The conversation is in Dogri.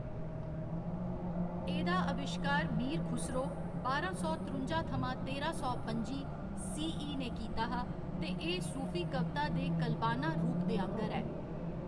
एह्‌‌‌दा अविश्कार मीर खुसरो, बारां सौ त्रुंजा थमां तेरां सौ पं'जी, सीई ने कीता हा ते एह्‌‌ सूफी कविता दे कलबाना रूप दे आह्ंगर ऐ।